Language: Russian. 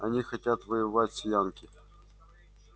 они хотят воевать с янки